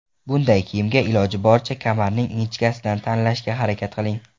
Bunday kiyimga, iloji boricha, kamarning ingichkasidan tanlashga harakat qiling.